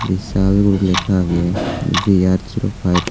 vishal guri lega agey ji ar five.